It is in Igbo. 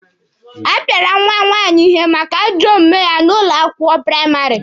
A pịara nwa nwaanyị ihe maka ajọ omume ya n'ụlọ akwụkwọ praịmarị.